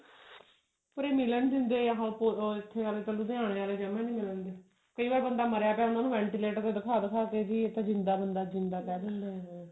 ਉਰੇ ਮਿਲਣ ਦਿੰਦੇ ਜਾ ਇੱਥੇ ਆਲੇ ਤਾਂ ਲੁਧਿਆਣੇ ਆਲੇ ਜਮਾਂ ਨਹੀਂ ਮਿਲਣ ਦਿੰਦੇ ਕਈ ਵਾਰ ਬੰਦਾ ਮਰਿਆ ਪਿਆ ਉਹਨਾਂ ਨੂੰ ventilator ਤੇ ਦਿਖਾ ਦਿਖਾ ਕੇ ਵੀ ਇਹ ਤਾਂ ਜਿੰਦਾ ਬੰਦਾ ਜਿੰਦਾ ਕਰਨ ਲਈ ਇਹ